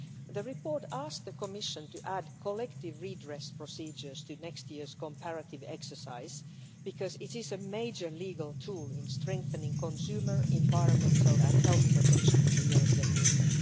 This report asks the Commission to add collective redress procedures to next year's comparative exercise because it is a major legal tool in strengthening consumer, environmental and health protection in the European Union.